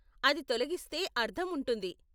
అది తొలగిస్తే అర్ధం ఉంటుంది.